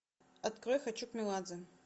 открой хочу к меладзе